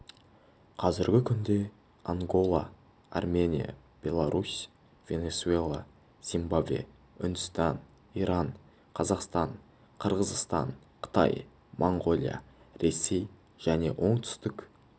қазіргі күнде ангола армения беларусь венесуэла зимбабве үндістан иран қазақстан қырғызстан қытай монғолия ресей және оңтүсік